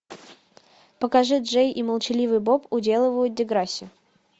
покажи джей и молчаливый боб уделывают деграсси